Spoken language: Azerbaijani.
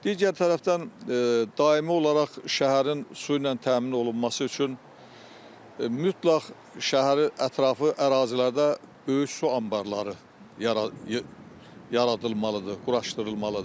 Digər tərəfdən daimi olaraq şəhərin su ilə təmin olunması üçün mütləq şəhəri ətrafı ərazilərdə böyük su anbarları yaradılmalıdır, quraşdırılmalıdır.